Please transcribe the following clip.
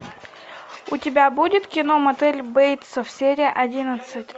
у тебя будет кино мотель бейтсов серия одиннадцать